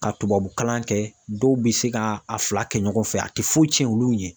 Ka tubabu kalan kɛ dɔw be se ka a fila kɛ ɲɔgɔn fɛ a te foyi tiɲɛ olu ɲɛ.